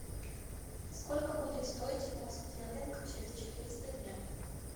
сколько будет стоить фунт стерлинг через четыреста дня